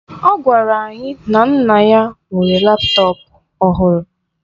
Ọ gwara anyị na nna ya nwere laptọọpụ ọhụrụ.